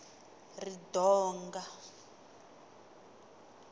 ridonga